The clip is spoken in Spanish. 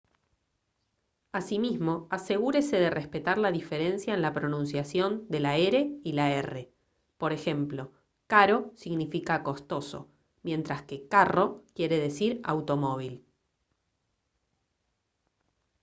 asimismo asegúrese de respetar la diferencia en la pronunciación de la r y la rr por ejemplo caro significa costoso mientras que carro quiere decir automóvil